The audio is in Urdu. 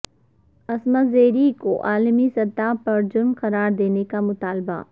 عصمت ریزی کو عالمی سطح پر جرم قرار دینے کا مطالبہ